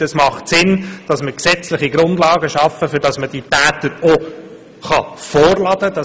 Es macht Sinn, dass wir gesetzliche Grundlagen schaffen, damit man diese Täter auch vorladen kann.